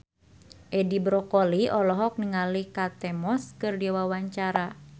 Edi Brokoli olohok ningali Kate Moss keur diwawancara